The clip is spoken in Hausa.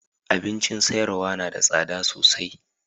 Abincin sayarwa na da tsada sosai.